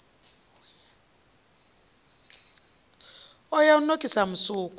o ya u nokisa musuku